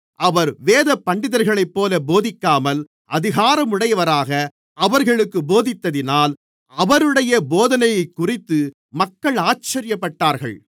அவர் வேதபண்டிதர்களைப்போல போதிக்காமல் அதிகாரமுடையவராக அவர்களுக்குப் போதித்ததினால் அவருடைய போதனையைக்குறித்து மக்கள் ஆச்சரியப்பட்டார்கள்